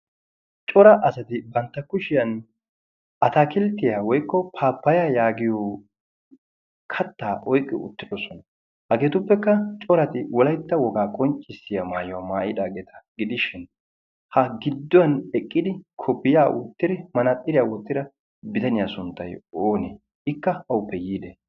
cora asati bantta kushiyan atakilttiyaa woikko paapaya yaagiyo kattaa oiqqi uttidosona hageetuppekka corati wolaitta wogaa qonccissiya maayuwaa maayidaageeta gidishin ha gidduwan eqqidi kofiya ottiri manaaxxiriyaa wottira bitaniyaa sunttai oonee ikka awuppe yiide?